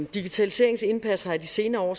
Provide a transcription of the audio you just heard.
digitaliseringens indpas har i de senere år